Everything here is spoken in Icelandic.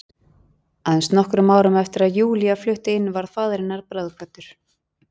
Aðeins nokkrum árum eftir að Júlía flutti inn varð faðir hennar bráðkvaddur.